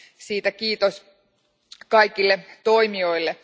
Siitä kiitos kaikille toimijoille.